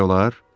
Gəlmək olar?